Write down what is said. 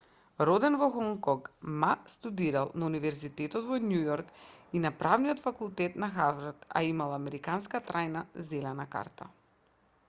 роден во хонг конг ма студирал на универзитетот во њујорк и на правниот факултет на харвард а имал и американска трајна зелена карта